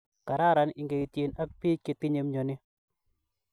Kararan ingeityiin ak piik chetinye myoni